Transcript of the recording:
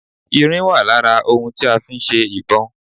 Irin wà lára ohun tí a fi ń ṣe ìbọn